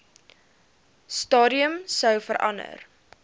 stadium sou verander